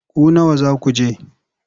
Ku nawa za ku je?